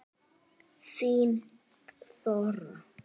Þín Þóra.